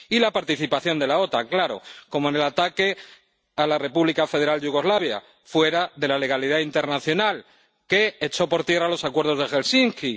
Y la participación de la OTAN, claro, como en el ataque a la República Federal de Yugoslavia —fuera de la legalidad internacional—, que echó por tierra los acuerdos de Helsinki.